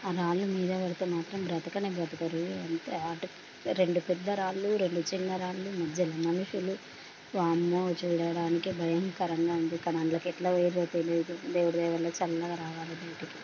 అ రాళ్లు మీద పడితే మాత్రం బతకనే బతకడు రెండు పెద్ద రాళ్ళు రెండు చిన్న రాళ్లు మధ్యలో మనుషులు వామ్మో చూడడానికి భయంకరంగా ఉంది కానీ అందులకి ఎట్లా పోయిన్లు తెలియదు దేవుడి దయవల్ల చల్లగా రావాలి బయటకి.